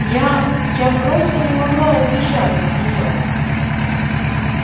я я просто не могла убежать от неё